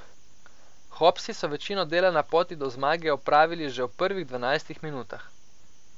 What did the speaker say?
Hopsi so večino dela na poti do zmage opravili že v prvih dvajsetih minutah.